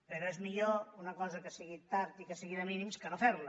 però és millor una cosa que sigui tard i que sigui de mínims que no fer la